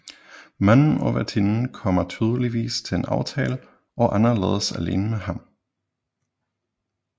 Manden og værtinden kommer tydeligvis til en aftale og Anna lades alene med ham